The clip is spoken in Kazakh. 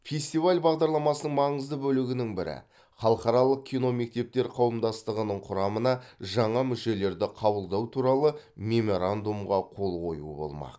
фестиваль бағдарламасының маңызды бөлігінің бірі халықаралық киномектептер қауымдастығының құрамына жаңа мүшелерді қабылдау туралы меморандумға қол қою болмақ